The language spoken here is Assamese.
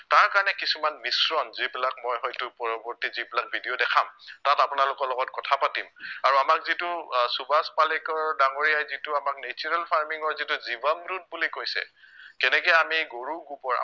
তাৰ কাৰণে কিছুমান মিশ্ৰণ যিবিলাক মই হয়তো পৰৱৰ্তী যিবিলাক video দেখাম তাত আপোনালোকৰ লগত কথা পাতিম আৰু আমাক যিটো আহ সুভাষ পালেকৰ ডাঙৰীয়াই যিটো আমাক natural farming ৰ যিটো জীৱন root বুলি কৈছে কেনেকে আমি গৰুৰ গোবৰ